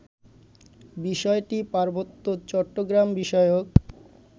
বিষয়টি পার্বত্য চট্টগ্রাম বিষয়ক